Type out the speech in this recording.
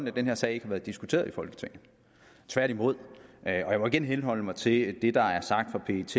at den her sag ikke har været diskuteret i folketinget tværtimod og jeg må igen henholde mig til det der er sagt fra pets